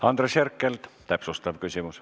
Andres Herkel, täpsustav küsimus.